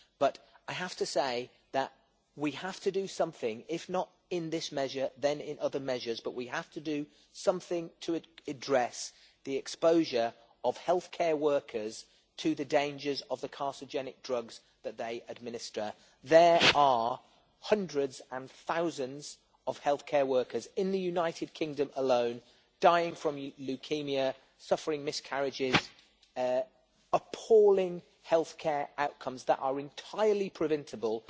But I have to say that we have to do something if not in this measure, then in other measures but we have to do something to address the exposure of healthcare workers to the dangers of the carcinogenic drugs that they administer. There are hundreds and thousands of healthcare workers in the United Kingdom alone dying from leukaemia, suffering miscarriages and having appalling healthcare outcomes that are entirely preventable.